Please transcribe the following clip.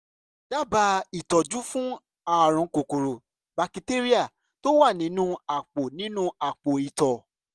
dábàá ìtọ́jú fún ààrùn kòkòrò bakitéríà tó wà nínú àpò nínú àpò ìtọ̀